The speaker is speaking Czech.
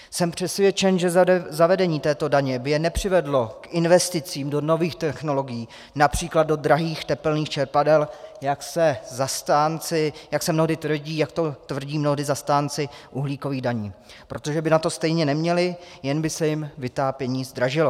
Jsem přesvědčen, že zavedení této daně by je nepřivedlo k investicím do nových technologií, například do drahých tepelných čerpadel, jak se mnohdy tvrdí, jak to tvrdí mnohdy zastánci uhlíkových daní, protože by na to stejně neměli, jen by se jim vytápění zdražilo.